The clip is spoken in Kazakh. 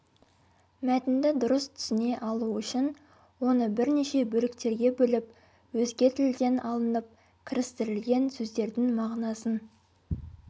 мәтінді дұрыс түсіне алу үшін оны бірнеше бөліктерге бөліп өзге тілден алынып кірістірілген сөздердің мағынасын